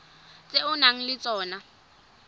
tse o nang le tsona